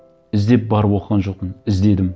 іздеп барып оқыған жоқпын іздедім